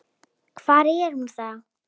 Hvar er hún þá?